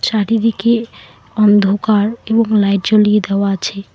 চারিদিকে অন্ধকার এবং লাইট জ্বলিয়ে দেওয়া আছে।